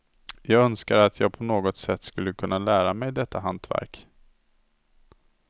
Jag önskar att jag på något sätt skulle kunna lära mig detta hantverk.